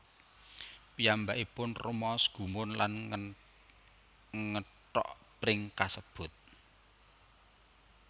Piyambakipun rumaos gumun lan ngethok pring kasebut